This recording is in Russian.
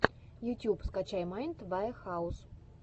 ютюб скачай майнд ваэхаус